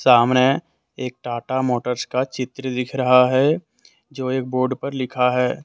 सामने एक टाटा मोटर्स का चित्र दिख रहा है जो एक बोर्ड पर लिखा है।